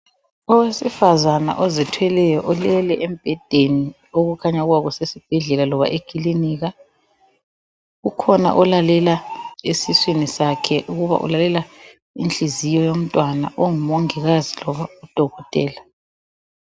Owesifazana ozithweleyo ulele embhedeni okukhanya ukuba kusesibhedlela loba ekilinika, ukhona olalela esiswini sakhe ukuba ulalela inhliziyo yomntwana, ongumongikazi loba udokotela.